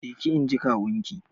Je ki! inji kawun ki.